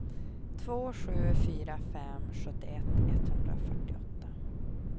två sju fyra fem sjuttioett etthundrafyrtioåtta